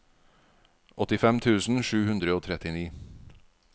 åttifem tusen sju hundre og trettini